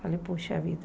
Falei, poxa vida.